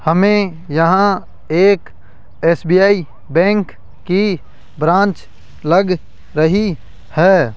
हमें यहां एक एस_बी_आई बैंक की ब्रांच लग रही है।